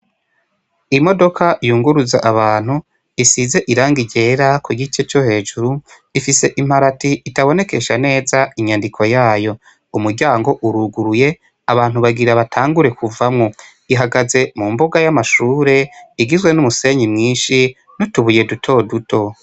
Imodoka yunguruza abantu isize iranga rera ku gice co hejuru ifise imparati itabonekesha neza inyandiko yayo umuryango uruguruye abantu bagira batangure kuvamwo ihagaze mu mbuga y'amashure igizwe n'umusenyi mwinshi no tubuye dutoduto.